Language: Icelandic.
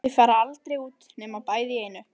Þau fara aldrei út nema bæði í einu.